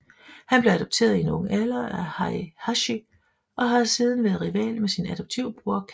Han blev adopteret i en ung alder af Heihachi og har siden været rival med sin adoptiv bror Kazuya